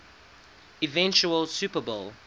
eventual super bowl